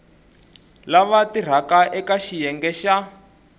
lava tirhaka eka xiyenge xa